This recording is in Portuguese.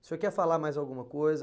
O senhor quer falar mais alguma coisa?